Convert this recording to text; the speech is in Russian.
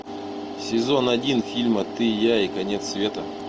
сезон один фильма ты я и конец света